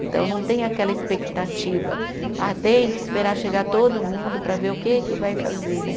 Então, não tem aquela expectativa, ah tem que esperar chegar todo mundo para ver o que que vai fazer né.